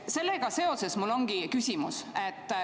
Sellega seoses mul ongi küsimus.